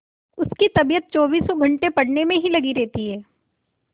उसकी तबीयत चौबीसों घंटे पढ़ने में ही लगी रहती है